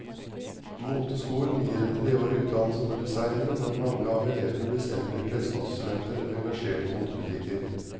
Moteskolen gir en treårig utdannelse for designere, men mange av elevene blir senere kleskonsulenter eller engasjert i motebutikker.